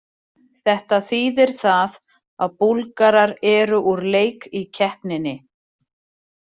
Þetta þýðir það að Búlgarar eru úr leik í keppninni.